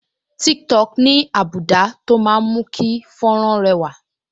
Tiktok ní́ àbùdá tó máa ń mú kí fọ́nrán rẹwà